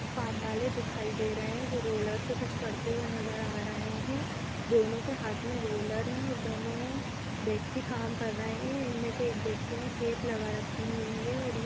काम वाले दिखाई दे रहे हैं जो रोलर से कुछ करते हुए नजर आ रहे है। दोनों के हाथ में रोलर है और दोनों व्यक्ति काम कर रहे ऐ । इनमें से एक व्यक्ति ने केप लगा रखी हुई है और ये --